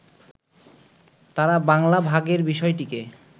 তাঁরা বাংলা ভাগের বিষয়টিকে